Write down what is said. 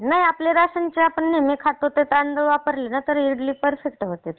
नाही आपले राशनचे जे नेहमी खातो आपण ते तांदूळ वापरले ना तरी ही इडली पर्फेक्ट होते.